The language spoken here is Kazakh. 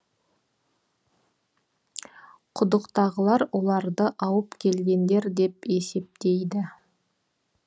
құдықтағылар оларды ауып келгендер деп есептейді